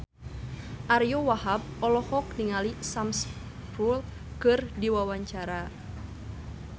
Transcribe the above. Ariyo Wahab olohok ningali Sam Spruell keur diwawancara